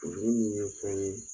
Furudimi ye fɛn ye